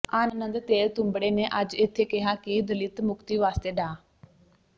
ਆਨੰਦ ਤੇਲਤੁੰਬੜੇ ਨੇ ਅੱਜ ਇੱਥੇ ਕਿਹਾ ਕਿ ਦਲਿਤ ਮੁਕਤੀ ਵਾਸਤੇ ਡਾ